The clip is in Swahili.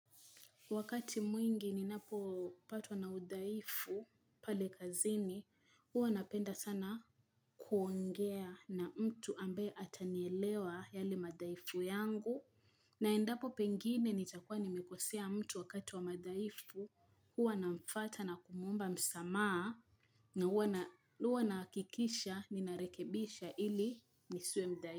Wakati mwingi ninapo patwa na udhaifu pale kazini, huwa napenda sana kuongea na mtu ambaye atanielewa yale madhaifu yangu. Na endapo pengine nitakuwa nimekosea mtu wakati wa madhaifu, huwa namfata na kumuomba msamaha na huwa na, huwa nahakikisha ninarekebisha ili nisiwe mdhaifu.